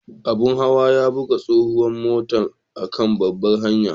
Abun hawa ya buga tsohuwan matan a'kan babbar hanyan.